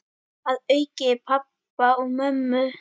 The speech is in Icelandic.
Að auki pabba og mömmu.